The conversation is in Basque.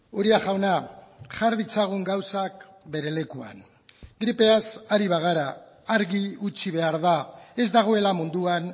uria jauna jar ditzagun gauzak bere lekuan gripeaz ari bagara argi utzi behar da ez dagoela munduan